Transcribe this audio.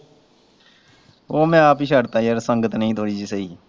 ਉਹ ਮੈਂ ਆਪ ਹੀ ਛੱਡਤਾ ਹੀ ਯਾਰ ਸੰਗਤ ਨਹੀਂ ਹੀ ਕੋਈ ਵੀ ਸਹੀ।